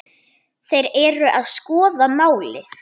Þeir eru að skoða málið.